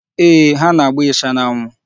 Ee, ha na-agba ịsha n'anwụ.